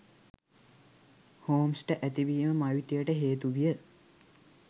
හෝම්ස්ට ඇතිවීම මවිතයට හේතුවිය